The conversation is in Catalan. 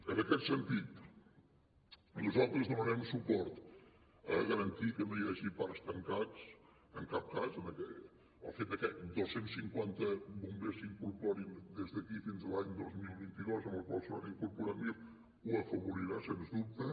en aquest sentit nosaltres donarem suport a garantir que no hi hagi parcs tancats en cap cas el fet de que dos cents i cinquanta bombers s’incorporin des d’aquí fins l’any dos mil vint dos en el qual se n’hauran incorporat mil ho afavorirà sense dubte